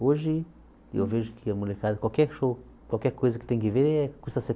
Hoje eu vejo que a molecada, qualquer show, qualquer coisa que tem que ver eh custa